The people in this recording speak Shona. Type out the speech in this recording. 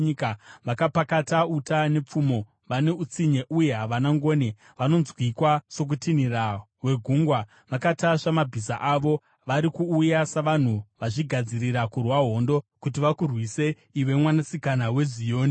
Vakapakata uta nepfumo; vane utsinye uye havana ngoni. Vanonzwikwa sokutinhira kwegungwa vakatasva mabhiza avo; vari kuuya savanhu vazvigadzirira kurwa hondo kuti vakurwise, iwe Mwanasikana weZioni.”